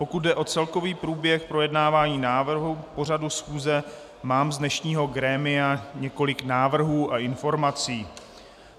Pokud jde o celkový průběh projednávání návrhu pořadu schůze, mám z dnešního grémia několik návrhů a informací.